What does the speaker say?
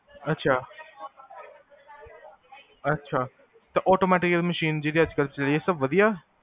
ਅਛਾ ਅਛਾ ਤਾਂ automatic machine ਜੇਹੜੀ ਅਜਕਲ ਵਦੀਆ